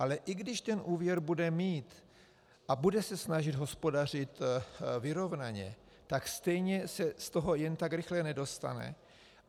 Ale i když ten úvěr bude mít a bude se snažit hospodařit vyrovnaně, tak stejně se z toho jen tak rychle nedostane.